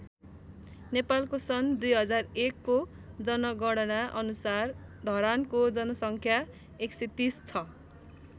नेपालको सन् २००१ को जनगणना अनुसार धरानको जनसङ्ख्या १३० छ।